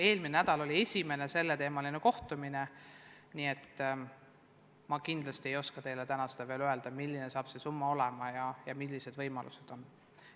Eelmine nädal oli esimene selleteemaline kohtumine, nii et ma kindlasti ei oska teile täna veel öelda, milline saab see summa olema ja millised võimalused on.